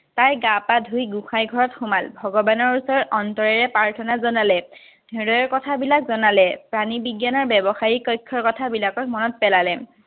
তাই গা-পা ধুই গোসাঁই ঘৰত সোমাল, ভগবানৰ ওচৰত অন্তৰেৰে প্ৰাৰ্থনা জনালে। হৃদয়ৰ কথাবিলাক জনালে। প্ৰাণীবিজ্ঞানৰ ব্যৱসায়ীক কক্ষৰ কথাবিলাক মনত পেলালে।